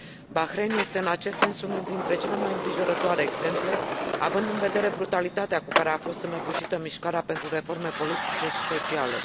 Bahrain este în acest sens unul dintre cele mai îngrijorătoare exemple, având în vedere brutalitatea cu care a fost înăbușită mișcarea pentru reforme politice și sociale.